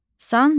Sancaq.